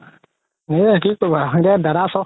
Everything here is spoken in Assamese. অ কি কবা